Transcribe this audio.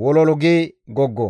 wololu gi goggo.